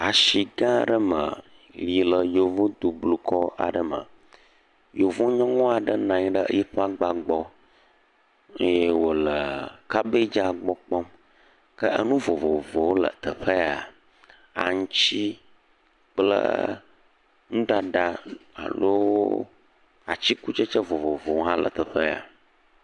Asi gã aɖe me si le yevu dukɔ aɖe me, yevui nyɔnu aɖe nɔ anyi ɖe eƒe agba gbɔ le kabegi gbɔ kpɔm, Ke nuvovovowo le teƒe ya aŋuti kple nuɖaɖa alo atikutsetse vovovowo hã le teƒe ya.